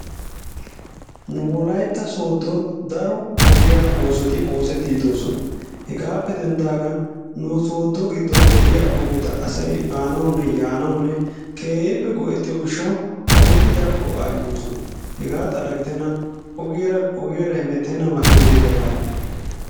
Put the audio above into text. Nu wolaytta sooddon daro ogiya oosoti oosettidi de'oosona. Hegaappe denddidaagan nu sooddo giddon de'iya ogeta asay baanawunne yaanawunne keehippe go'ettiyo gishshawu ogeti daro go'aa immoosona hegaa xala gidenan ogiyaara ogiyaara hettena makkinaykka baawa.